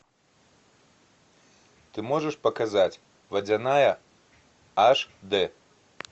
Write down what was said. ты можешь показать водяная аш дэ